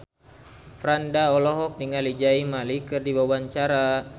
Franda olohok ningali Zayn Malik keur diwawancara